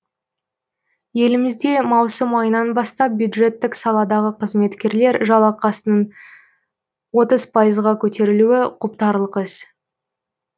елімізде маусым айынан бастап бюджеттік саладағы қызметкерлер жалақысының отыз пайызға көтерілуі құптарлық іс